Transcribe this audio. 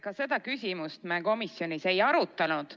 Ka seda küsimust me komisjonis ei arutanud.